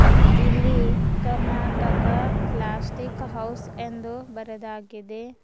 ಇಲ್ಲಿ Karnataka plastic house ಎಂದು ಬರೆದಾಗಿದೆ.